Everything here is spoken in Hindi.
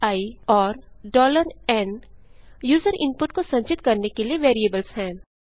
i और n यूजर इनपुट को संचित करने के लिए वेरिएबल्स हैं